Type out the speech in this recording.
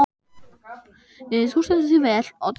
Þú stendur þig vel, Otri!